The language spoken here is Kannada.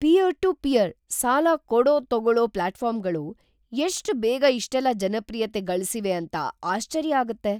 ಪಿಯರ್-ಟು-ಪಿಯರ್ ಸಾಲ ಕೊಡೋ-ತಗೋಳೋ ಪ್ಲಾಟ್ಫಾರ್ಮ್‌ಗಳು ಎಷ್ಟ್ ಬೇಗ ಇಷ್ಟೆಲ್ಲ ಜನಪ್ರಿಯತೆ ಗಳ್ಸಿವೆ ಅಂತ ಆಶ್ಚರ್ಯ ಆಗತ್ತೆ.